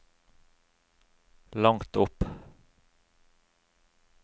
langt opp